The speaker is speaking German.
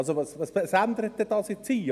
Also: Was ändert das dann hier?